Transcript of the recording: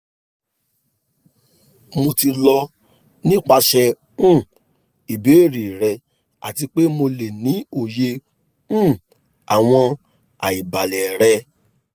mo ti lọ nipasẹ um ibeere rẹ ati pe mo le ni oye um awọn aibalẹ rẹ